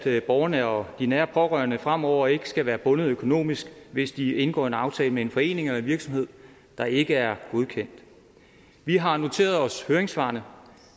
at borgerne og de nære pårørende fremover ikke skal være bundet økonomisk hvis de indgår en aftale med en forening eller en virksomhed der ikke er godkendt vi har noteret os høringssvarene